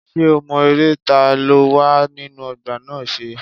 Ṣé o mọ eré ta ló wà nínú ọgbà náà ṣe?